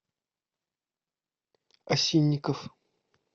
осинников